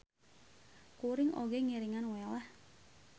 Kuring oge ngiringan wae lah.